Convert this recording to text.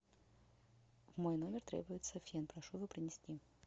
в мой номер требуется фен прошу его принести